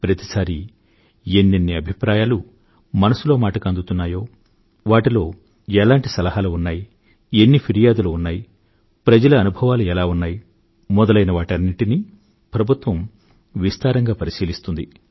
ప్రతి సారీ ఎన్నెన్ని అభిప్రాయాలు మనసులో మాటకు అందుతున్నాయో వాటిలో ఎలాంటి సలహాలు ఉన్నాయో ఎన్ని ఫిర్యాదులు ఉన్నాయో ప్రజల అనుభవాలు ఎలా ఉన్నాయో వంటి వాటన్నింటినీ ప్రభుత్వం విస్తారంగా పరిశీలిస్తుంది